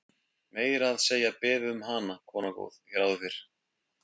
Meira að segja beðið um hana, kona góð, hér áður fyrr.